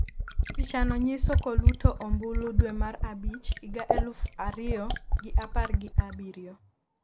. pichano nyiso koluto ombulu dwe mar abich higa eluf ariyo gi apar gi abirio